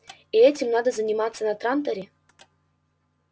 и этим надо заниматься на транторе